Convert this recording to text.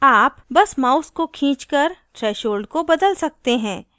आप बस mouse को खींचकर threshold को बदल सकते हैं